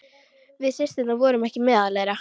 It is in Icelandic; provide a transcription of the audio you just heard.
Við systurnar vorum ekki meðal þeirra.